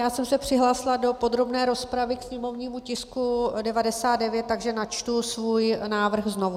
Já jsem se přihlásila do podrobné rozpravy ke sněmovnímu tisku 99, takže načtu svůj návrh znovu.